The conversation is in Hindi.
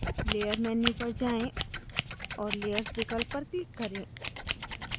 layer menu पर जाएँ और layers विकल्प पर click करें